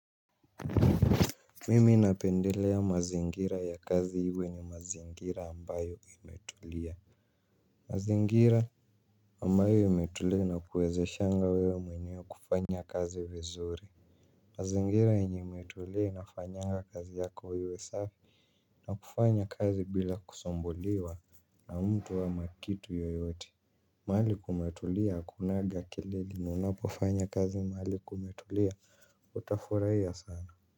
Mimi napendelea mazingira ya kazi iwe ni mazingira ambayo imetulia. Mazingira ambayo imetulia inakuwezeshanga wewe mwenyewe kufanya kazi vizuri. Mazingira yenye imetulia na inafanyanga kazi yako iwe safi. Na kufanya kazi bila kusumbuliwa na mtu ama kitu yoyote mahali kumetulia akunanga kelele na unapofanya kazi mahali kumetulia utafurahia sana.